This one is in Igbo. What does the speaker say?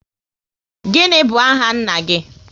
What is your father's name?